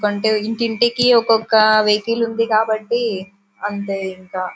ఎందుకంటే ఇంటి ఇంటికి ఒక్కొక్క వెహికల్ కాబట్టి అంతే ఇంకా --